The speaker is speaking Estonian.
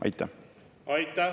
Aitäh!